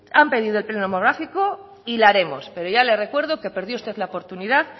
han pedido el pleno monográfico y lo haremos pero ya les recuerdo que perdió usted la oportunidad